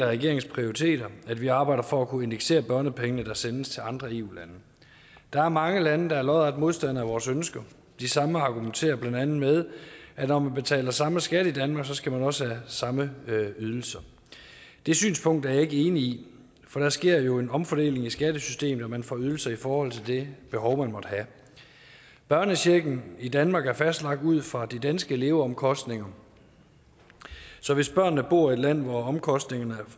regeringens prioriteter at vi arbejder for at kunne indeksere børnepenge der sendes til andre eu lande der er mange lande der er lodret modstandere af vores ønsker de samme lande argumenterer blandt andet med at når man betaler samme skat i danmark skal man også have samme ydelser det synspunkt er jeg ikke enig i for der sker jo en omfordeling i skattesystemet og man får ydelser i forhold til det behov man måtte have børnechecken i danmark er fastlagt ud fra de danske leveomkostninger så hvis børnene bor i et land hvor omkostningerne